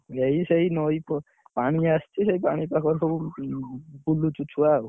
ଏଇ ସେଇ ନଈ, ପାଣି ଆସିଛି, ସେଇ ପାଣି ପାଖରେ ସବୁ ବୁଲୁଚୁ ଛୁଆ ଆଉ।